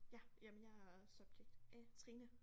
Ja jamen jeg er subjekt A Trine